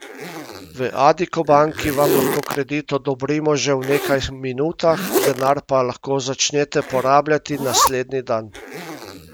V Addiko banki vam lahko kredit odobrimo že v nekaj minutah, denar pa lahko začnete porabljati naslednji dan!